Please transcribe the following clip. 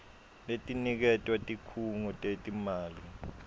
letiniketwa tikhungo tetimali